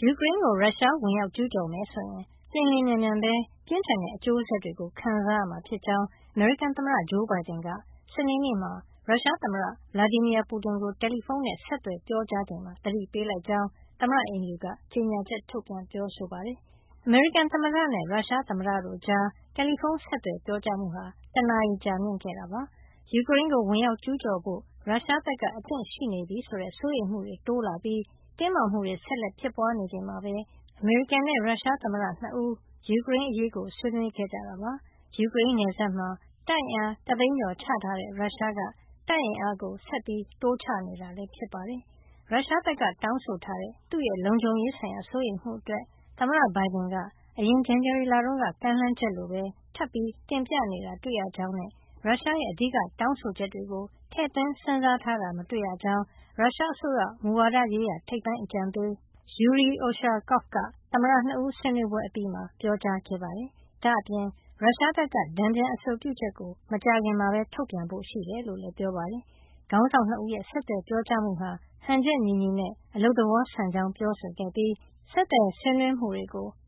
ယူကရိန်းကို ရုရှား ဝင်ရောက်ကျူးကျော်မယ်ဆိုရင် လျှင်လျှင်မြန်မြန်ပဲ ပြင်းထန်တဲ့ အကျိုးဆက်တွေ ခံစားရမှာဖြစ်ကြောင်း အမေရိကန်သမ္မတ ဂျိုးဘိုင်ဒန်က စနေနေ့မှာ ရုရှားသမ္မတ Vladimir Putin ကို တယ်လီဖုန်းနဲ့ ဆက်သွယ်ပြောကြားချိန်မှာ သတိပေးလိုက်ကြောင်း သမ္မတအိမ်ဖြူက ကြေညာချက်ထုတ်ပြန် ပြောဆိုပါတယ်။ အမေရိကန်သမ္မတနဲ့ ရုရှားသမ္မတတို့ကြား တယ်လီဖုန်း ဆက်သွယ်ပြောကြားမှုဟာ တနာရီ ကြာမြင့်ခဲ့တာပါ။ ယူကရိန်းကို ဝင်ရောက်ကျူးကျော်ဖို့ ရုရှားဘက်က အသင့်ရှိနေပြီဆိုတဲ့ စိုးရိမ်မှုတွေ တိုးလာပြီး ဆက်လက်တင်းမာနေချိန်မှာပဲ အမေရိကန်နဲ့ ရုရှားသမ္မတ ၂ ဦး ယူကရိန်းအရေး ဆွေးနွေးခဲ့ကြတာပါ။ ယူကရိန်းနယ်စပ်မှာ တပ်အင်အား ၁ သိန်းကျော်ချထားတဲ့ ရုရှားက တပ်အင်အားကို ဆက်ပြီး တိုးချနေတာ ဖြစ်ပါတယ်။ ရုရှားဘက်က တောင်းဆိုထားတဲ့ သူ့လုံခြုံရေးဆိုင်ရာ စိုးရိမ်မှုတွေအတွက် သမ္မတဘိုင်ဒန်က အရင် ဇန်နဝါရီလတုန်းက ကမ်းလှမ်းချက်လိုပဲ ထပ်ပြီး တင်ပြနေတာ တွေ့ရကြောင်းနဲ့ ရုရှားရဲ့ အဓိကတောင်းဆိုချက်တွေကို ထည့်သွင်းစဉ်းစားထားတာ မတွေ့ရကြောင်း ရုရှားအစိုးရ မူဝါဒရေးရာ ထိပ်ပိုင်းအကြံပေး Yury Ushakov က သမ္မတ ၂ ဦး ဆွေးနွေးပွဲအပြီးမှာ ပြောကြားခဲ့ပါတယ်။ ဒါ့အပြင် ရုရှားဘက်က တန်ပြန်အဆိုပြုချက်ကို မကြာခင် ထုတ်ပြန်ဖို့ ရှိကြောင်းလည်း ပြောပါတယ်။ ခေါင်းဆောင် ၂ ဦးရဲ့ ဆက်သွယ်ပြောကြားမှုဟာ ဟန်ချက်ညီညီနဲ့ အလုပ်သဘောဆန်ကြောင်း ပြောဆိုခဲ့ပြီး ဆက်သွယ်ဆွေးနွေးမှုတွေ